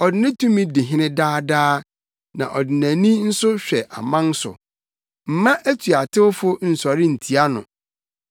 Ɔde ne tumi di hene daa daa, na ɔde nʼani nso hwɛ aman so. Mma atuatewfo nsɔre ntia no.